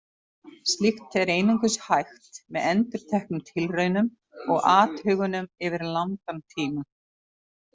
Slíkt er einungis hægt með endurteknum tilraunum og athugunum yfir langan tíma.